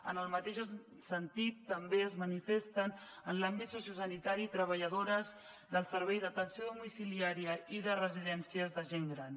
en el mateix sentit també es manifesten en l’àmbit sociosanitari treballadores del servei d’atenció domiciliària i de residències de gent gran